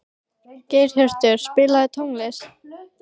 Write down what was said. Geirhjörtur, spilaðu tónlist.